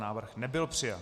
Návrh nebyl přijat.